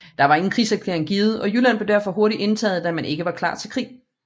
Der var ingen krigserklæring givet og Jylland blev derfor hurtigt indtaget da man ikke var klar til krig